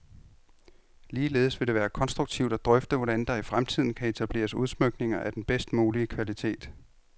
Ligeledes vil det være konstruktivt at drøfte, hvordan der i fremtiden kan etableres udsmykninger af den bedst mulige kvalitet.